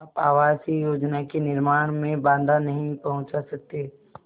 आप आवासीय योजना के निर्माण में बाधा नहीं पहुँचा सकते